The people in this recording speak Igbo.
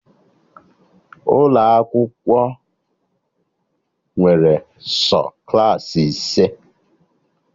Ụlọ akwụkwọ nwere sọ Klassị ise